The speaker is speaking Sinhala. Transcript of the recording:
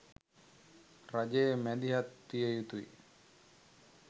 රජය මැදිහත් විය යුතුයි.